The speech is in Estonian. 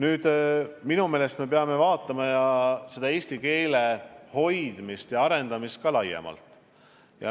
Aga minu meelest me peame vaatama eesti keele hoidmist ja arendamist ka laiemalt.